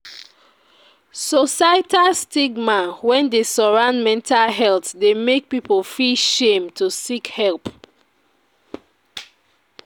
Societal stigma wey dey surround metal health dey make people feel shame to seek help.